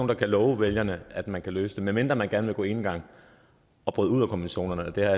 der kan love vælgerne at man kan løse det medmindre man gerne vil gå enegang og bryde ud af konventionerne det har